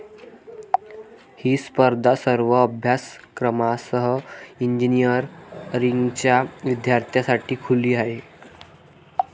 ही स्पर्धा सर्व अभ्यासक्रमांसह इंजिनिअरींगच्या विद्यार्थ्यांसाठी खुली आहे.